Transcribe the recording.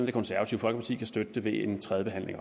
det konservative folkeparti også kan støtte det ved tredje behandling